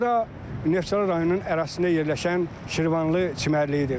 Bura Neftçala rayonunun ərazisində yerləşən Şirvanlı çimərliyidir.